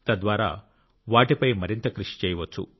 తద్వారా వాటిపై మరింత కృషి చేయవచ్చు